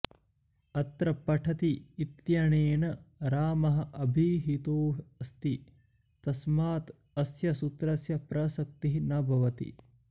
अत्र पठति इत्यनेन रामः अभिहितोऽस्ति तस्मात् अस्य सूत्रस्य प्रसक्तिः न भवति